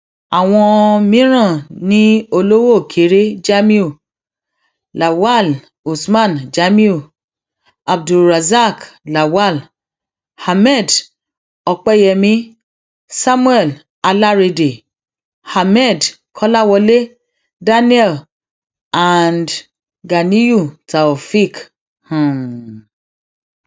àwọn mìíràn ni olówókéré jamiu lawal usman jamiu abdulrasaq lawal ahmed opẹyẹmi samuel alárédè ahmed um kọláwọlé daniel and ganiyunù taofẹẹk um